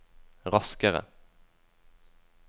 raskere